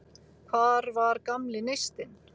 Hvar var gamli neistinn?